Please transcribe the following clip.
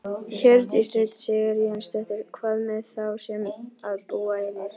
Hjördís Rut Sigurjónsdóttir: Hvað með þá sem að búa einir?